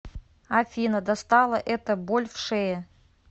афина достала эта боль в шее